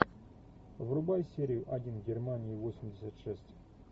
врубай серию один германия восемьдесят шесть